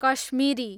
Kashmiri